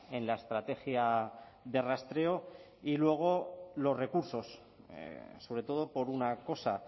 en la estrategia de rastreo y luego los recursos sobre todo por una cosa